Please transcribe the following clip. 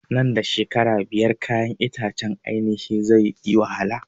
Nan da shekara biyar kayan itacen ainihin zai yi wahala